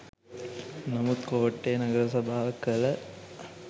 නමුත් කෝට්ටේ නගර සභාව කළ